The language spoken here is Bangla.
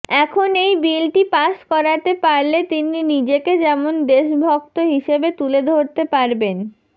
এখন এই বিলটি পাস করাতে পারলে তিনি নিজেকে যেমন দেশভক্ত হিসেবে তুলে ধরতে পারবেন